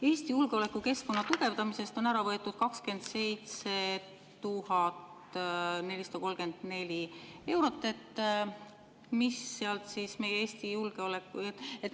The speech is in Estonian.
Eesti julgeolekukeskkonna tugevdamiselt on ära võetud 27 434 eurot.